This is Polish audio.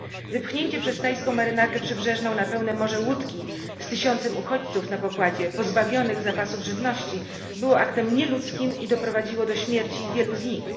Wypchnięcie przez tajską marynarkę przybrzeżną na pełne morze łódki z tysiącem uchodźców na pokładzie, pozbawionych zapasów żywności, było aktem nieludzkim i doprowadziło do śmierci wielu z nich.